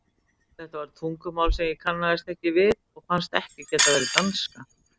Þetta var tungumál sem ég kannaðist ekki við og fannst ekki geta verið danska.